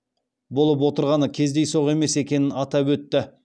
болып отырғаны кездейсоқ емес екенін атап өтті